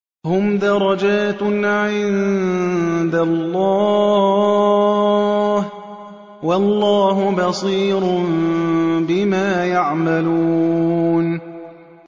هُمْ دَرَجَاتٌ عِندَ اللَّهِ ۗ وَاللَّهُ بَصِيرٌ بِمَا يَعْمَلُونَ